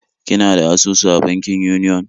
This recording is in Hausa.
Kina da asusu a bankin Union?